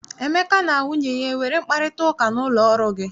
Emeka na nwunye ya enwere mkparịtaụka n'ụlọ ọrụ gị?